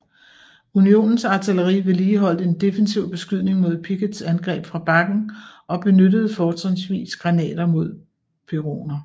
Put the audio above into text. Unionens artilleri vedligeholdt en defensiv beskydning mod Picketts angreb fra bakken og benyttede fortrinsvis granater mod peroner